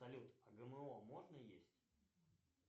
салют а гмо можно есть